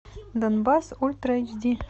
донбасс ультра эйч ди